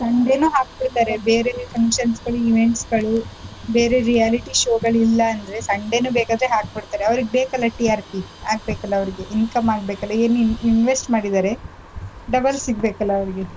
Sunday ನೂ ಹಾಕ್ತಿರ್ತಾರೆ ಬೇರೇನೇ functions ಗಳು events ಗಳು ಬೇರೆ reality show ಗಳು ಇಲ್ಲಾ ಅಂದ್ರೆ Sunday ನೂ ಬೇಕಾದ್ರೆ ಹಾಕ್ ಬಿಡ್ತಾರೆ ಅವ್ರಿಗ್ ಬೇಕಲ TRP ಆಗ್ಬೇಕಲಾ ಅವ್ರಿಗೆ income ಆಗ್ಬೇಕಲಾ ಏನೇನ್ invest ಮಾಡಿದ್ದಾರೆ double ಸಿಗ್ಬೇಕಲ ಅವ್ರಿಗೆ.